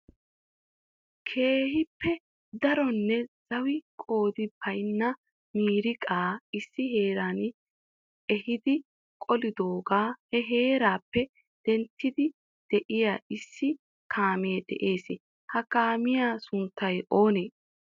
Keehippe daronne zawi qoodi baynna miiriqqa issi heeran ehidi qolidooga he heerappe denttidi de'iyaa issi kaamee de'ees. Ha kaamiya sunttay oonee?